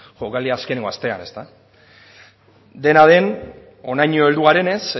jokaldiaren azkenengo astean dena den honaino heldu garenez